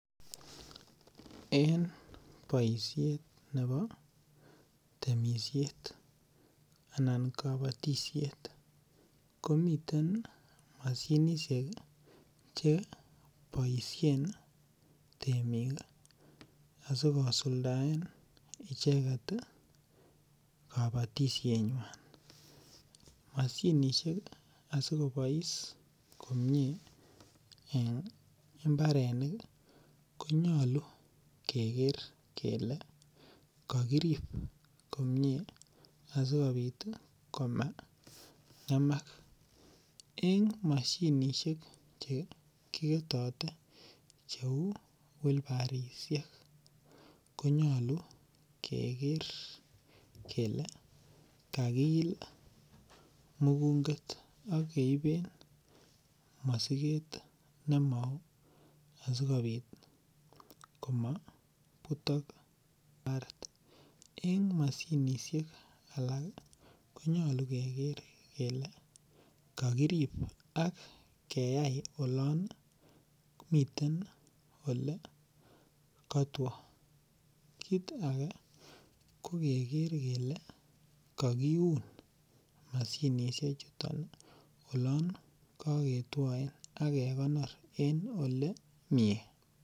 En korani kotesetai boisionik chebo kabatisiet. Komiten mashinisiek chekiboisien en imbarenik che aenge en choton ko terekta. Ak komiten kora alak cheuu boibusiek ak mashinisiek alak. Miten mashinisiek chekeminen biasinik. Ak komiten mashinit nemine tuguk cheuu nganuk anan ko barley mashinisiek chuton ih ko kikichob en oret nekikere kele mine minutikkomie. Ak miten oratuniek che ke riben mashinisiek chuton. Nyolu keker kele kakiyachi boisit eloan katua anan olan miten lekamee ih kecheb asikobit kotesetai koyai boisiet.